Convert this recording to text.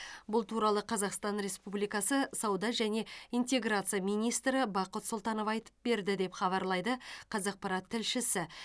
бұл туралы қазақстан республикасы сауда және интеграция министрі бақыт сұлтанов айтып берді деп хабарлайды қазақпарат тілшісі